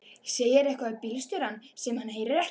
Segir eitthvað við bílstjórann sem hann heyrir ekki.